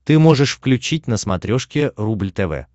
ты можешь включить на смотрешке рубль тв